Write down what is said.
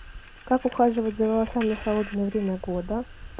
как ухаживать за волосами в холодное время года